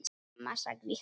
Mamma sagði hún.